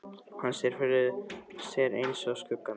Hann sér þær fyrir sér einsog skuggamyndir.